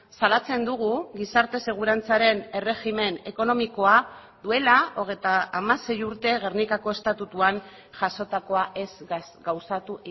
salatzen dugu gizarte segurantzaren erregimen ekonomikoa duela hogeita hamasei urte gernikako estatutuan jasotakoa ez gauzatu